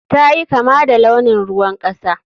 Ta yi kama da launin ruwan kasa.